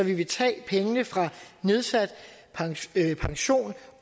vi vil tage pengene fra nedsat pension